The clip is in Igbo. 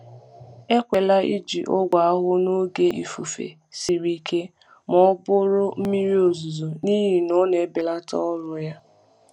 Ekwela iji ọgwụ ahụhụ n’oge ifufe siri ike ma ọ bụ mmiri ozuzo, n’ihi na ọ na-ebelata ọrụ ya.